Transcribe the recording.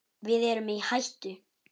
Við erum í hættu!